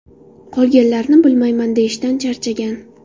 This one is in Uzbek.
Qolganlarini bilmayman”, deyishdan charchagan.